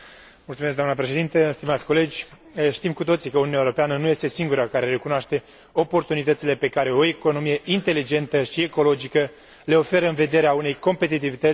Știm cu toții că Uniunea Europeană nu este singura care recunoaște oportunitățile pe care o economie inteligentă și ecologică le oferă în vederea unei competitivități și a unei prosperități sporite.